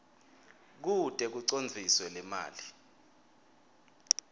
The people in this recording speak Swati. kute kucondziswe lemali